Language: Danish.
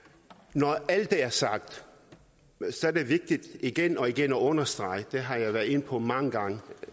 når alt det er sagt er det vigtigt igen og igen at understrege det har jeg været inde på mange gange